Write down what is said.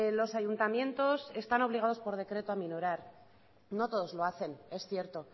los ayuntamientos están obligados por decreto a aminorar no todos lo hacen es cierto